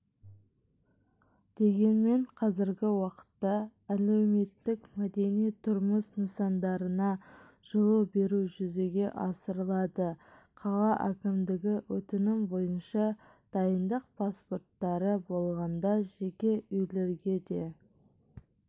дегенмен қазіргі уақытта әлеуметтік мәдени тұрмыс нысандарына жылу беру жүзеге асырылады қала әкімдігі өтінімі бойынша дайындық паспорттары болғанда жеке үйлерге де